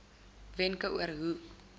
wenke oor hoe